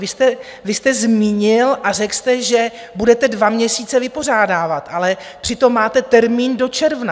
Vy jste zmínil a řekl jste, že budete dva měsíce vypořádávat, ale přitom máte termín do června.